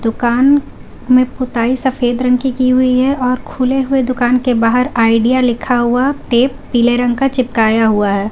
दुकान में पुताई सफेद रंग की की हुई है और खुले हुए दुकान के बाहर आइडिया लिखा हुआ टेप पीले रंग का चिपकाया हुआ है।